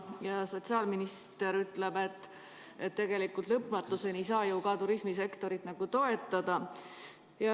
Ja sotsiaalminister ütleb, et tegelikult lõpmatuseni ei saa ju ka turismisektorit toetada.